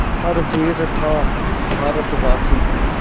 हर वीर था भारतवासी